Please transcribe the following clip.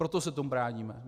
Proto se tomu bráníme.